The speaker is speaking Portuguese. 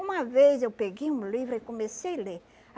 Uma vez eu peguei um livro e comecei ler.